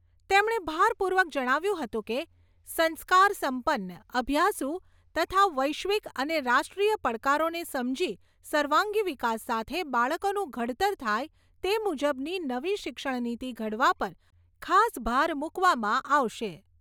તેમણે ભારપૂર્વક જણાવ્યું હતું કે, સંસ્કાર સંપન્ન, અભ્યાસુ તથા વૈશ્વિક અને રાષ્ટ્રીય પડકારોને સમજી સર્વાંગી વિકાસ સાથે બાળકોનું ઘડતર થાય તે મુજબની નવી શિક્ષણ નીતિ ઘડવા પર ખાસ ભાર મૂકવામાં આવશે.